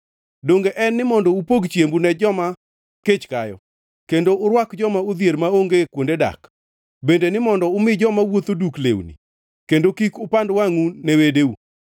Donge en ni mondo upog chiembu ne joma kech kayo kendo urwak joma odhier maonge kuonde dak, bende ni mondo umi joma wuotho duk lewni, kendo kik upand wangʼu ne wedeu?